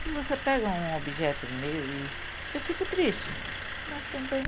Se você pega um objeto meu e... eu fico triste, mas também...